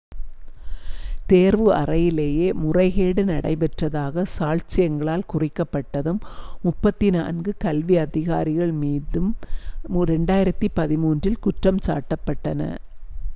தேர்வு அறையிலேயே முறைகேடு நடைபெற்றதாகச் சாட்சியங்களால் குறிக்கப்பட்டதும் 34 கல்வி அதிகாரிகள் மீது 2013-இல் குற்றஞ்சாட்டப்பட்டன